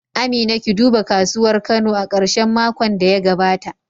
Amina, ki duba kasuwar Kano a karshen makon da ya gabata